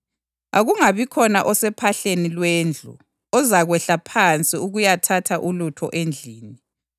Akungabikhona osophahleni lwendlu ozakwehla phansi ukuyathatha ulutho endlini.